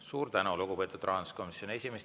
Suur tänu, lugupeetud rahanduskomisjoni esimees!